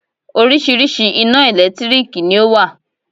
Oríṣiríṣi ina ẹ̀lẹ́tírìkì ni ọ wá.